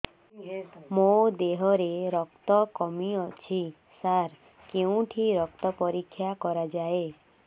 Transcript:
ମୋ ଦିହରେ ରକ୍ତ କମି ଅଛି ସାର କେଉଁଠି ରକ୍ତ ପରୀକ୍ଷା କରାଯାଏ